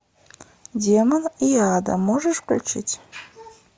демон и ада можешь включить